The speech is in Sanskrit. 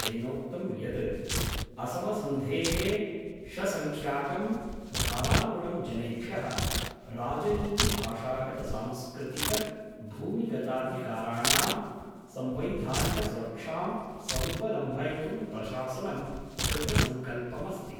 तेनोक्तं यत् असमसन्धेः षसंख्याकं धारानुगुणं जनेभ्यः राजनीतिभाषागतसांस्कृतिकभूमिगताधिकाराणां संवैधानिकसुरक्षां समुपलम्भयितुं प्रशासनं कृतसंकल्पमस्ति।